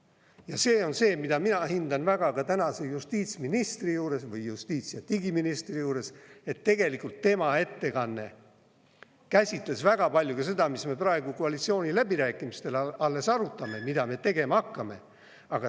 Ja see on see, mida mina hindan väga ka tänase justiitsministri juures või justiits‑ ja digiministri juures, et tegelikult tema ettekanne käsitles väga palju ka seda, mida me praegu koalitsiooniläbirääkimistel alles arutame, mida me tegema hakkame.